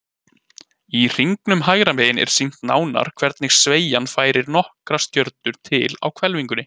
Í hringnum hægra megin er sýnt nánar hvernig sveigjan færir nokkrar stjörnur til á hvelfingunni.